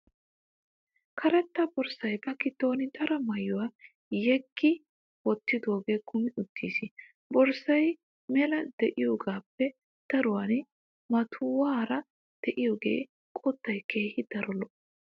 Karetta borssay ba giddon daro maayuwaa yeggi wottidoogee kumi uttis. Borssay mela diyogaappe daruwan maatuwaara diyode qottay keehin daro lo'o.